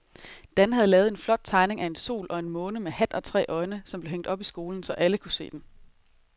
Dan havde lavet en flot tegning af en sol og en måne med hat og tre øjne, som blev hængt op i skolen, så alle kunne se den.